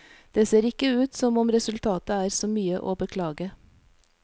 Det ser ikke ut som om resultatet er så mye å beklage.